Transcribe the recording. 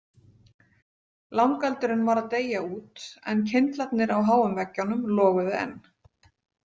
Langeldurinn var að deyja út en kyndlarnir á háum veggjunum loguðu enn.